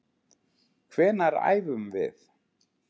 Hvenær æfum við?